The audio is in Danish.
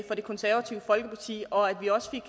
for det konservative folkeparti og at vi også